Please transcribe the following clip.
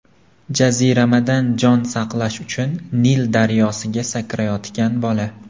Jaziramadan jon saqlash uchun Nil daryosiga sakrayotgan bola.